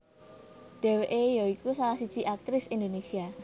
Dheweke ya iku salah siji aktris Indonésia